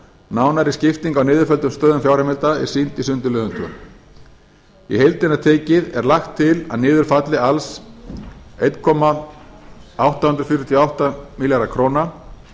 nánari skipting á niðurfelldum stöðum fjárheimilda er sýnd í sundurliðun annars í heildina tekið er lagt til að niður falli alls einn komma átta fjórar átta milljarðar króna